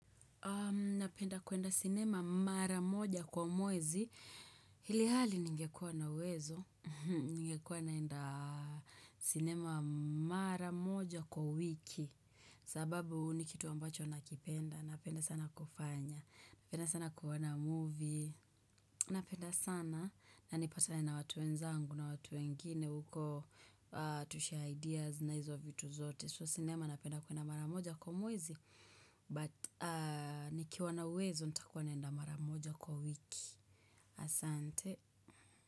Napenda kwenda sinema mara moja kwa mwezi. Ilhali ningekuwa na uwezo. Ningekuwa naenda sinema mara moja kwa wiki. Sababu ni kitu ambacho nakipenda. Napenda sana kufanya. Napenda sana kuona movie. Napenda sana na nipatane na watu wenzangu na watu wengine. Uko tushare ideas na hizo vitu zote. So sinema napenda kwenda mara moja kwa mwezi. But ni kiwa na uwezo nitakuwa naenda maramoja kwa wiki Asante.